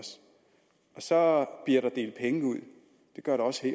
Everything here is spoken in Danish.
så bliver der delt penge ud det gør der også